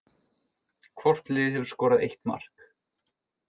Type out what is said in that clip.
Hvort lið hefur skorað eitt mark